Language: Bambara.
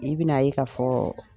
I bina ye ka fɔ